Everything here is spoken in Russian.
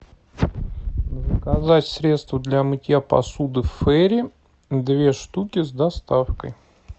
заказать средство для мытья посуды фери две штуки с доставкой